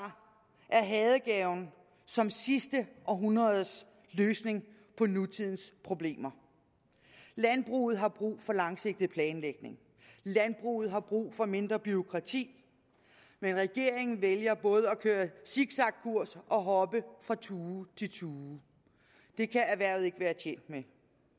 er hadegaven som sidste århundredes løsning på nutidens problemer landbruget har brug for langsigtet planlægning landbruget har brug for mindre bureaukrati men regeringen vælger både at køre zigzagkurs og hoppe fra tue til tue det kan erhvervet ikke være tjent med